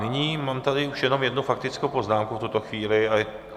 Nyní mám tady už jenom jednu faktickou poznámku v tuto chvíli.